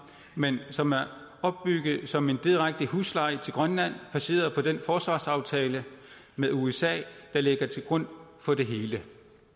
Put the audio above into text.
men som er opbygget som en direkte husleje til grønland baseret på den forsvarsaftale med usa der ligger til grund for det hele